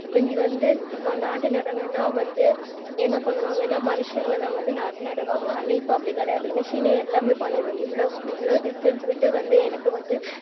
முந்தி வந்து இப்போ நாத்து நடனும்ன வந்து என்னபண்ணுவாங்கான மனுஷங்கதான் வந்து நாத்து நடுவாங்க ஆனா இப்போ அப்டி கிடையாது machine யே எல்லாமே பண்ணிடும் இவ்ளோ க்குஇவ்ளோ distance விட்டு வந்து எனக்கு வந்து